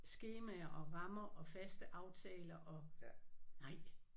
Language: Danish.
Skemaer og rammer og faste aftaler og nej